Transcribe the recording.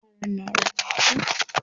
yaran na rubutu